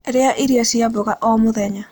Rĩa irio cia mmboga o mũthenya